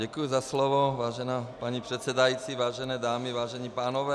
Děkuji za slovo, vážená paní předsedající, vážené dámy, vážení pánové -